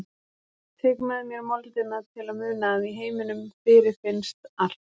Tek með mér moldina til að muna að í heiminum fyrirfinnst allt.